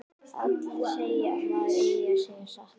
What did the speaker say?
Allir segja að maður eigi að segja satt.